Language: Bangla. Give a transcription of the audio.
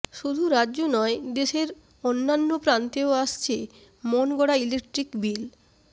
শুধু রাজ্য নয় দেশের অন্য়ান্য প্রান্তেও আসছে মন গড়া ইলেকট্রিক বিল